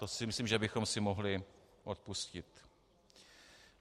To si myslím, že bychom si mohli odpustit.